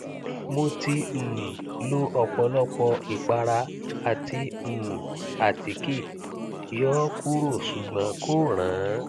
mo ti um lo ọpọlọpọ ìpara àti um àtíkè yọ ọ kúrò ṣùgbọn kò rànán